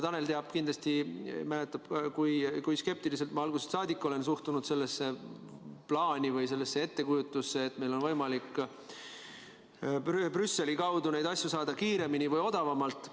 Tanel teab, kindlasti mäletab, kui skeptiliselt ma algusest saadik olen suhtunud sellesse plaani või sellesse ettekujutusse, et meil on võimalik Brüsseli kaudu neid vaktsiine saada kiiremini või odavamalt.